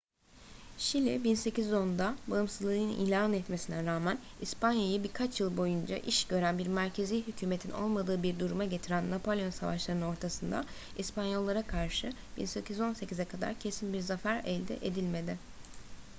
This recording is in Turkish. şili 1810'da bağımsızlığını ilan etmesine rağmen i̇spanya'yı birkaç yıl boyunca iş gören bir merkezî hükümetin olmadığı bir duruma getiren napolyon savaşlarının ortasında i̇spanyollara karşı 1818'e kadar kesin bir zafer elde edilmedi